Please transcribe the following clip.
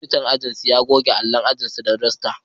Monitan wani aji ya goge allon ajinsu da dasta.